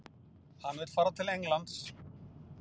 Hann vill fara til Englands?